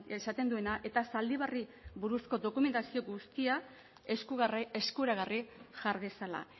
esaten duena eta zaldibarri buruzko dokumentazio guztia eskuragarri jar dezala